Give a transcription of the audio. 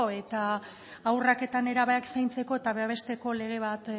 eta haurrak eta nerabeak zaintzeko eta babesteko lege bat